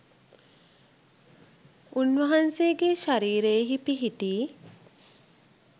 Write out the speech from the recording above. උන් වහන්සේගේ ශරීරයෙහි පිහිටි